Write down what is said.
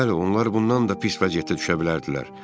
Bəli, onlar bundan da pis vəziyyətdə düşə bilərdilər.